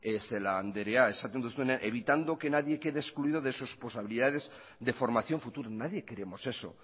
celaá andrea esaten duzuenean evitando que nadie quede excluido de sus posibilidades de formación futura nadie queremos eso